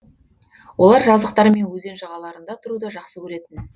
олар жазықтар мен өзен жағаларында тұруды жақсы көретін